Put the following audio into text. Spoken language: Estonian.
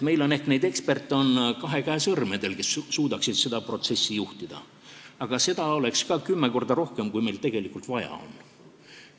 Me saame need eksperdid, kes suudaksid seda protsessi juhtida, üles lugeda kahe käe sõrmedel, aga seda on ka kümme korda rohkem, kui meil tegelikult vaja on.